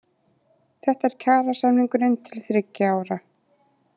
Þetta er kjarasamningurinn til þriggja ára